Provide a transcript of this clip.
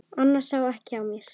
Annars sá ekki á mér.